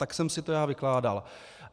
Tak jsem si to já vykládal.